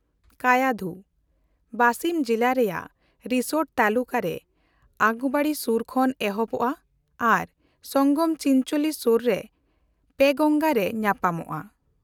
ᱠᱟᱭᱟᱫᱷᱩ (ᱵᱟᱥᱤᱢ ᱡᱤᱞᱟ ᱨᱮᱭᱟᱜ ᱨᱤᱥᱳᱰ ᱛᱟᱞᱩᱠᱟ ᱨᱮ ᱟᱜᱚᱨᱣᱟᱲᱤ ᱥᱩᱨ ᱠᱷᱚᱱ ᱮᱦᱚᱵᱚᱜ-ᱟ ᱟᱨ ᱥᱚᱝᱜᱚᱢ ᱪᱤᱱᱪᱳᱞᱤ ᱥᱩᱨ ᱨᱮ ᱯᱮᱝᱜᱟᱝᱜᱟ ᱨᱮ ᱧᱟᱯᱟᱢᱚᱜ-ᱟ)